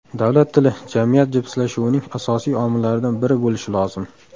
Davlat tili jamiyat jipslashuvining asosiy omillaridan biri bo‘lishi lozim.